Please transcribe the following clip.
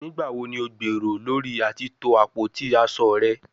Nigbawo ni o gbero lori ati to apoti aso rẹ?